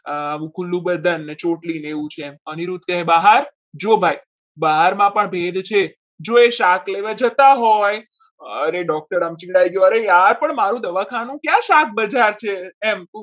સાવ ખુલ્લુ બદલ ને ચોટલી ને એવું છે એમ અનિરુદ્ધ કહે બહાર જો ભાઈ બહારમાં પણ ભેદ છે જોઈ શાક લેવા જતા હોય અને doctor બદલાઈ ગયો અરે યાર મારું દવાખાનું ક્યાં શાક બજાર છે. એમ